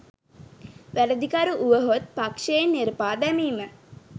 වැරදිකරු වුවහොත් පක්ෂයෙන් නෙරපා දැමීම